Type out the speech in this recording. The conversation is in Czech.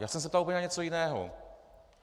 Já jsem se ptal úplně na něco jiného.